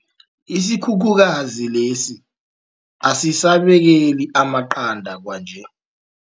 Isikhukhukazi lesi asisabekeli amaqanda kwanje.